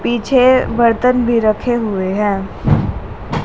पीछे बर्तन भी रखे हुए हैं।